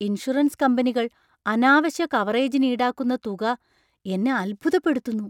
Insurance കമ്പനികൾ അനാവശ്യ കവറേജിന് ഈടാക്കുന്ന തുക എന്നെ അത്ഭുതപ്പെടുത്തുന്നു.